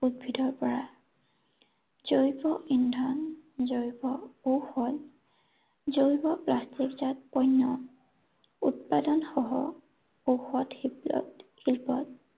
উদ্ভিদৰ পৰা জৈৱ ইন্ধন, জৈৱ কৌশল, জৈৱ প্লাষ্টিকজাত পৈণ্য় উৎপাদন সহ ঔষধ শিল্পত